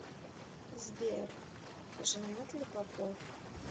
сбер женат ли попов